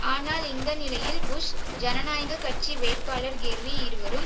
ஆனால் இந்த நிலையில் புஷ் ஜனநாயக கட்சி வேட்பாளர் கெர்ரி இருவரும்